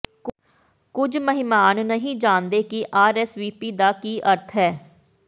ਕੁਝ ਮਹਿਮਾਨ ਨਹੀਂ ਜਾਣਦੇ ਕਿ ਆਰਐਸਵੀਪੀ ਦਾ ਕੀ ਅਰਥ ਹੈ